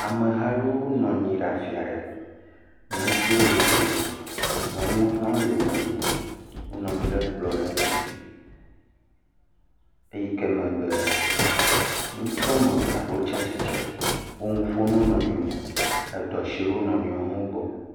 Amehawo nɔ anyi ɖe afi aɖe, ŋutsuwo le wo domi, nyɔnuwo hã le wo domi, wonɔ anyi ɖe kplɔ aɖe ŋuti, eyi ke me be, ŋutsu eve aɖewo tsi atsitre wole nu ƒom na wo nɔewo eɖo asi ɖe wo nɔewo gbɔ.